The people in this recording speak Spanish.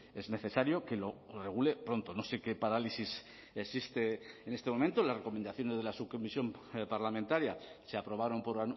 es necesario que lo regule pronto no sé qué parálisis existe en este momento las recomendaciones de la subcomisión parlamentaria se aprobaron por